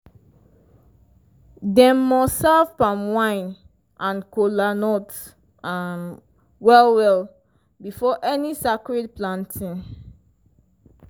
dem must serve palm wine and kola nut um well well before any sacred planting.